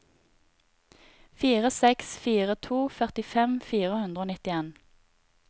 fire seks fire to førtifem fire hundre og nitten